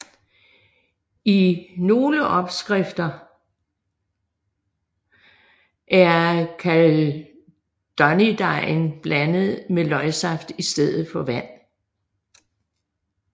I nogle opskrifter er kaldunydejen blandet med løgsaft istedet for vand